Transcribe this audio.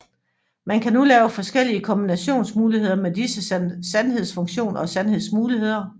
Man kan nu lave forskellige kombinationsmuligheder med disse sandhedsfunktioner og sandhedsmuligheder